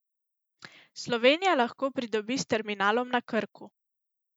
Slovenija lahko pridobi s terminalom na Krku.